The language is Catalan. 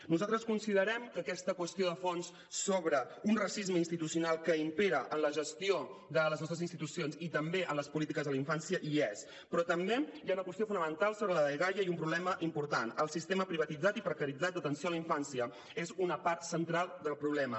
nosaltres considerem que aquesta qüestió de fons sobre un racisme institucional que impera en la gestió de les nostres institucions i també en les polítiques a la infància hi és però també hi ha una qüestió fonamental sobre la dgaia i un problema important el sistema privatitzat i precaritzat d’atenció a la infància és una part central del problema